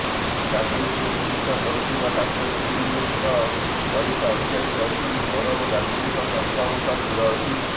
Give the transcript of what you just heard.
ଗାଙ୍ଗୁଲିଙ୍କୁ ଚିକିତ୍ସା କରୁଥିବା ଡାକ୍ତରୀ ଟିମର ବରିଷ୍ଠ ଅଧିକାରୀ କହିଛନ୍ତି ସୌରଭ ଗାଙ୍ଗୁଲିଙ୍କ ସ୍ବାସ୍ଥ୍ୟାବସ୍ଥା ସ୍ଥିର ଅଛି